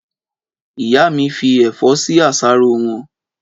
Ìyá mí fi ẹ̀fọ́ sí àsáró wọn